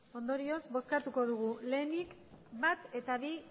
ondorioz bozkatuko dugu lehenik bat eta bi